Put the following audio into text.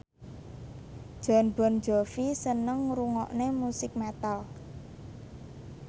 Jon Bon Jovi seneng ngrungokne musik metal